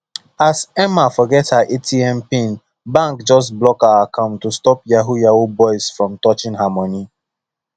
as emma forget her atm pin bank just lock her account to stop yahoo yahoo boys from touching her money